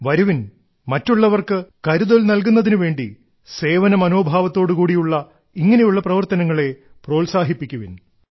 വരുവിൻ മറ്റുള്ളവർക്ക് കരുതൽ നൽകുന്നതിനു വേണ്ടി സേവനമനോഭാവത്തോടു കൂടി ഇങ്ങനെയുള്ള പ്രവർത്തനങ്ങളെ പ്രോത്സാഹിപ്പിക്കുവിൻ